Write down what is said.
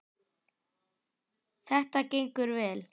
Þetta gengur vel.